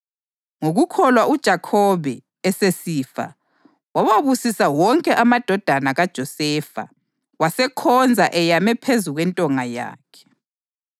Ngokukholwa uJakhobe, esesifa wawabusisa wonke amadodana kaJosefa, wasekhonza eyame phezu kwentonga yakhe.